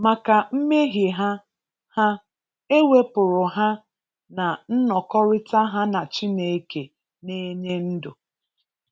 Maka mmehie ha, ha, e wepụrụ ha na nnọkọrịta ha na Chineke na-enye ndụ!